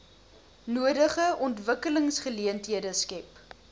nodige ontwikkelingsgeleenthede skep